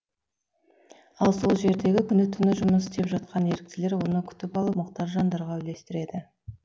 ал сол жерде күні түні жұмыс істеп жатқан еріктілер оны күтіп алып мұқтаж жандарға үлестіреді